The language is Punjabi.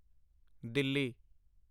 ਦਿੱਲੀ